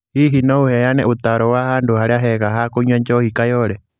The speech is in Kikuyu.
Hihi no ũheane ũtaaro wa handũ harĩa hega ha kũnyua njohi kayole